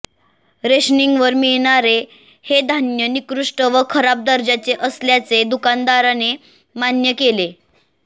रेशनिंगवर मिळणारे हे धान्य निकृष्ट व खराब दर्जाचे असल्याचे दुकानदाराने मान्य केले